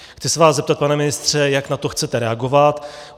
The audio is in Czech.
Chci se vás zeptat, pane ministře, jak na to chcete reagovat.